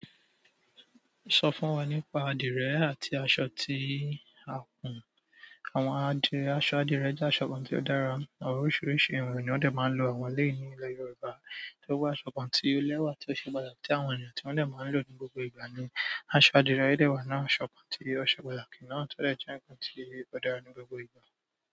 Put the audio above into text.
Sọ fún wa nípa adìrẹ àti aṣọ tí a kùn. Àwọn adìrẹ, aṣọ adìrẹ jẹ́ aṣọ kan tí ó dára, àwọn oríṣiríṣi àwọn ènìyàn ni wọ́n dẹ̀ máa ń lo àwọn eleyii ní ilẹ̀ Yorùbá. Ewù aṣọ kan tí ó lẹ́wà tí ó ṣe pàtàkì tí àwọn ènìyàn tí wọ́n dẹ̀ máa ń lò ní gbogbo ìgbà ni aṣọ adìrẹ. O dẹ wà nu àwọn aṣọ kan tí ó ṣe pàtàkì náà tọ dẹ̀ jẹ́ ǹkan tí ó dára ní gbogbo ìgbà.